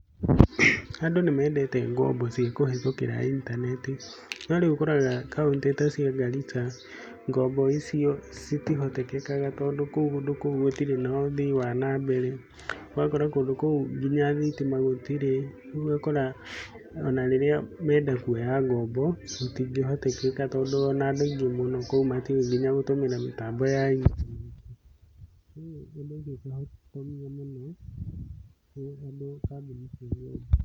Andũ nĩmendete ngombo cĩakũhetukĩra intaneti, no rĩu ũkoraga kauntĩ ta Garissa ngombo ĩcĩo cĩtĩhotetekaga tondũ kũndũ koũ gũtire na ũthĩi wa nambeere ũgakora kũndũ kou ngĩnya thitima gũtire ,rĩu ũgakora ona rĩrĩa menda kũoya ngombo gũtingĩhoteteka tondũ ona andũ aĩngi mũno kũu matiũi gũtũmĩra ngĩnya mĩtambo ya intaneti.